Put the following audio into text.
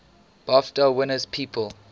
bafta winners people